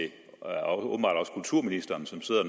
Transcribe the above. kulturministeren som sidder og